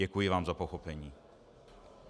Děkuji vám za pochopení.